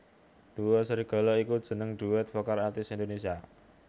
Duo Serigala iku jeneng duet vokal artis Indonesia